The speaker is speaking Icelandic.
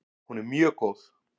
Hún er mjög góð!